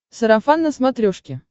сарафан на смотрешке